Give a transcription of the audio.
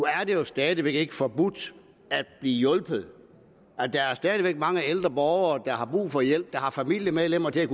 at det jo stadig væk ikke er forbudt at blive hjulpet der er stadig væk mange ældre borgere der har brug for hjælp og som har familiemedlemmer til